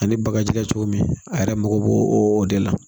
Ani bakaji kɛ cogo min a yɛrɛ mako bo o de la